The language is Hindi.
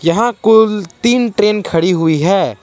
यहां कुल तीन ट्रेन खड़ी हुई है।